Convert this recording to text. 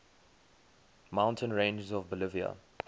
mountain ranges of bolivia